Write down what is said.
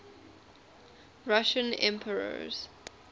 russian emperors